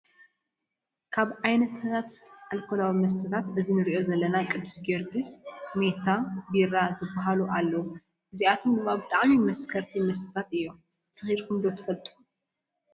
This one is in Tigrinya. ካብ ዓይነታት ኣልኮላዊ መስታት እዚ እንሪኦ ዘለና ቅዱስ ጊዮርግስ፣ ማታ፣ ቢራ ዝበሃሉ ኣለው። እዚኣቶም ድማ ብጣዕሚ መስከርቲ መስተታት እዩ። ሰኪርኩም ትፈልጡ ዶ ?